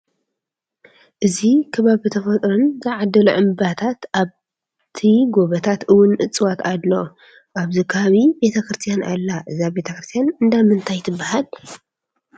እዚ ከባቢ ተፈጥሮን ዘዓደሎ እምባታት ኣብቲ ጎበታት እውን እፅዋት ኣለው። ኣብዚ ከባቢ ቤተ-ክርስትያን ኣላ ። እዛ ቤተ-ክርስትያን እንዳ ምንታይ ትበሃል?